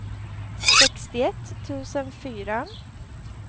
sextioett tusen fyra